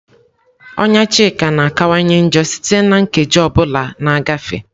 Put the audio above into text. Ọnya Chika na-akawanye njọ site na nkeji ọ bụla na-agafe.